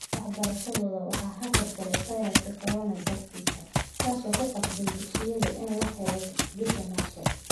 Waxbarashadooda waxaa hakad galay fayraska corona dartii, kaas oo ku qasbay dugsigoodii in la xiro bishii Maarso.